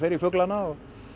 í fuglana